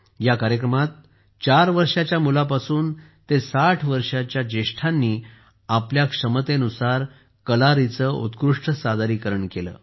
या कार्यक्रमात 4 वर्षांच्या मुलांपासून ते 60 वर्षांच्या वृद्धांनी आपल्या क्षमतेनुसार कलारीचे उत्कृष्ट सादरीकरण केले